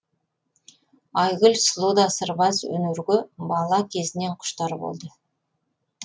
айгүл сұлу да сырбаз өнерге бала кезінен құштар болды